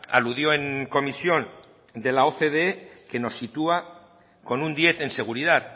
aludió en comisión de la ocde que nos sitúa con un diez en seguridad